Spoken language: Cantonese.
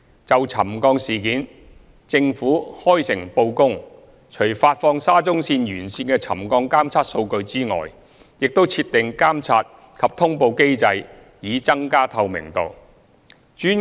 就沉降事件，政府開誠布公，除發放沙中線沿線的沉降監測數據外，亦已設立監察及通報機制以增加透明度。